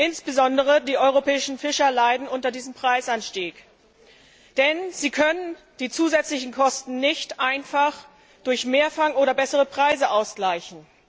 Insbesondere die europäischen Fischer leiden unter diesem Preisanstieg, denn sie können die zusätzlichen Kosten nicht einfach durch Mehrfang oder bessere Preise ausgleichen..